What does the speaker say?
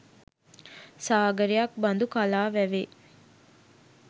සාගරයක් බඳු කලා වැවේ